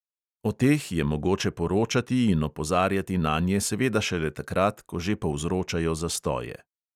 O teh je mogoče poročati in opozarjati nanje seveda šele takrat, ko že povzročajo zastoje.